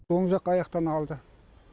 оң жақ аяқтан алды